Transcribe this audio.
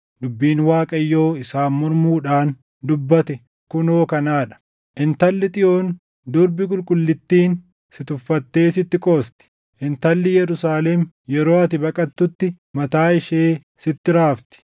Dubbiin Waaqayyo isaan mormuudhaan dubbate kunoo kanaa dha: “ ‘Intalli Xiyoon Durbi Qulqullittiin si tuffattee sitti qoosti. Intalli Yerusaalem yeroo ati baqattutti mataa ishee sitti raafti.